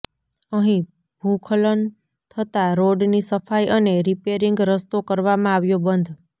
અહીં ભૂખલન થતા રોડની સફાઇ અને રિપેરીંગ રસ્તો કરવામાં આવ્યો બંધ